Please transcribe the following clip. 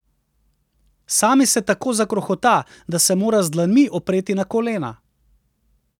Sami se tako zakrohota, da se mora z dlanmi opreti na kolena.